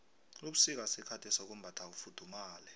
ubusika sikhathi sokumbatha ufuthumale